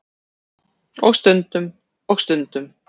Og stundum. og stundum.